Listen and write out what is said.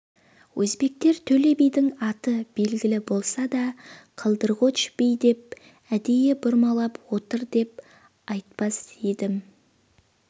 өзбектер төле бидің аты белгілі болса да қалдирғоч би деп әдейі бұрмалап отыр деп айтпас едім